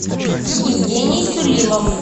евгений сулимов